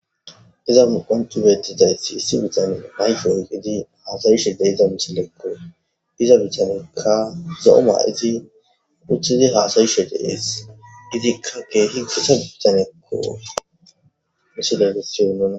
iza qontu betizayti issi bitane nayfoy gidi haasayishe deita misilekko diza bitanekka zo7o maa7iti uthidi haasayishe dees gidikkake hinxisa bitanekko misilegesyo nuna